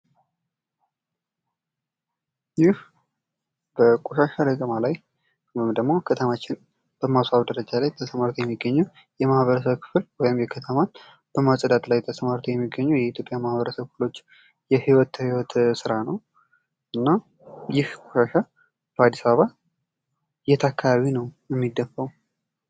ይህ በቆሻሻ ለቀማ ላይ ወይም ደግሞ ከተማችን በማስዋብ ደረጃ ላይ ተሰማርተው የሚገኙ የማህበረስብ ክፍል ወይም የከተማ በማፅዳት ላይ ተስማርተው የሚገኙ የአትዮጵያ ማሀብረሰብ ክፍሎች የሕይወት ሕይወት ሥራ ነው ::እና ይህ ቆሻሻ በአዲስአበባ የት አካባቢ ነው የሚደፋዉ?